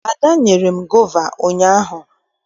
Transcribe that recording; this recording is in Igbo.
Ada nyere m gova ụnyaahụ.